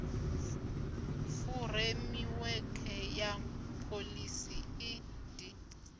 furemiwekhe ya pholisi i d